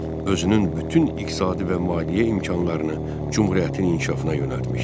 Özünün bütün iqtisadi və maliyyə imkanlarını Cümhuriyyətin inkişafına yönəltmişdi.